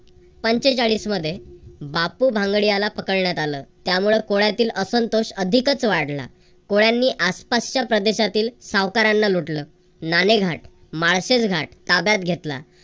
पंचेचाळीसमध्ये बापू भांगडिया याला पकडण्यात आलं त्यामुळे कोळ्यातील असंतोष अधिकच वाढला. कोळ्यांनी आसपासच्या प्रदेशातील सावकारांना लुटलं. नाणेघाट, माळशेज घाट ताब्यात घेतला.